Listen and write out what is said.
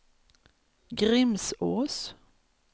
Grimsås